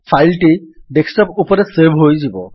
file ଟି desktop ରେ save ହୋଇଯିବ